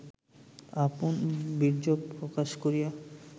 আপন বীর্যক প্রকাশ করিয়া